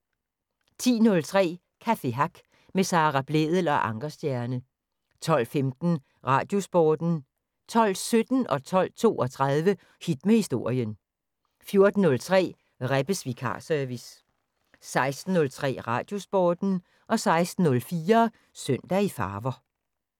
10:03: Café Hack med Sara Blædel og Ankerstjerne 12:15: Radiosporten 12:17: Hit med Historien 12:32: Hit med Historien 14:03: Rebbes vikarservice 16:03: Radiosporten 16:04: Søndag i farver